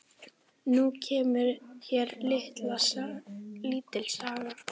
Nú kemur hér lítil saga.